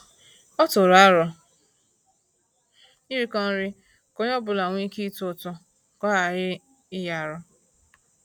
Ọ tụrụ arọ iriko nri ka onye ọbula nwe ike ịtụ ụtụ ka ọ ghara inyi arụ